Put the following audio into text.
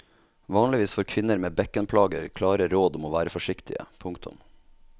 Vanligvis får kvinner med bekkenplager klare råd om å være forsiktige. punktum